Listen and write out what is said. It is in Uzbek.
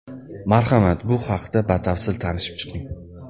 Marhamat, bu haqda batafsil tanishib chiqing.